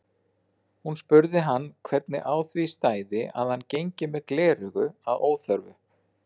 Hún spurði hann hvernig á því stæði að hann gengi með gleraugu að óþörfu.